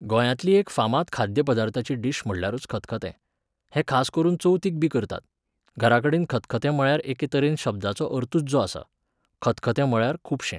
गोंयांतली एक फामाद खाद्य पदार्थाची डीश म्हणल्यारूच खतखतें. हें खास करून चवथीकबी करतात. घरा कडेन खतखतें म्हळ्यार एके तरेन शब्दाचो अर्थूच जो आसा, खतखतें म्हळ्यार खुबशें